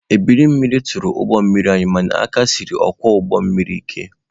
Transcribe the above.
Ebiri mmiri tụrụ ụgbọ mmiri anyị mana aka siri ọkwọ ụgbọ mmiri anyị ike.